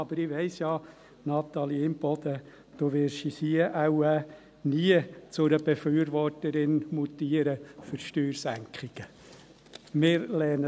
Aber ich weiss ja, Natalie Imboden, du wirst hier wohl nie zu einer Befürworterin von Steuersenkungen mutieren.